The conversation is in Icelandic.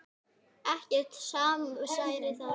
Ekkert samsæri þar.